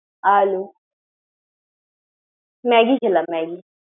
Hello, Maggi খেলাম Maggi ।